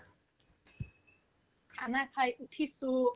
khana খাই উঠিছো